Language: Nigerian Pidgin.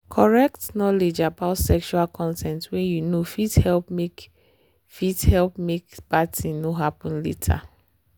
correct knowledge about sexual consent way you know fit help make fit help make bad thing no happen later.